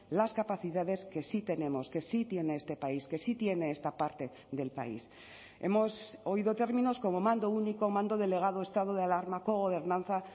las capacidades que sí tenemos que sí tiene este país que sí tiene esta parte del país hemos oído términos como mando único mando delegado estado de alarma cogobernanza